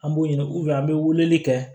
An b'o ɲini an bɛ weleli kɛ